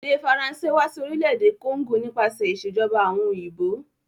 Èdè Faranṣé wa si orílẹ̀dè Congo nípasẹ̀ ìsèjoba àwon òyìnbó